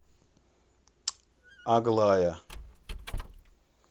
аглая